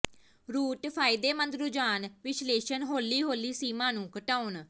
route ਫਾਇਦੇਮੰਦ ਰੁਝਾਨ ਵਿਸ਼ਲੇਸ਼ਣ ਹੌਲੀ ਹੌਲੀ ਸੀਮਾ ਨੂੰ ਘਟਾਉਣ